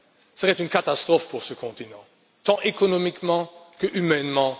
serait une catastrophe pour ce continent, tant économiquement qu'humainement.